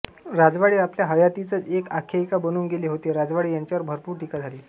राजवाडे आपल्या हयातीतच एक आख्यायिका बनून गेले होते राजवाडे यांच्यावर भरपूर टीका झाली